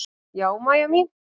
Já, Mæja mín.